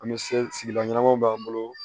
An bɛ se sigida ɲanamaw b'an bolo